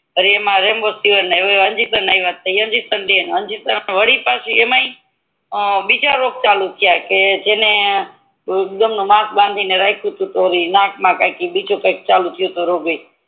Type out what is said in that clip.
અને એમ ય અંજીસન આયવ તો અંજીસન ડે વાડી પછી એમાંય તે બીજા રોગ ચાલુ થયા કે જેને માસ્ક બાંધી ને રાખ્યું તુ તો નાક મા કઈક બીજો કઈક રોગ ચાલુ થયું તુ ઈ